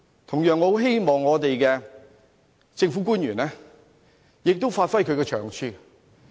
同樣，我很希望政府官員也發揮長處。